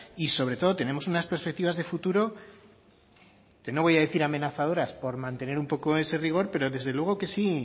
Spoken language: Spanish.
y sobre todo tenemos unas perceptivas de futuro que no voy a decir amenazadoras por mantener un poco ese rigor pero desde luego que sí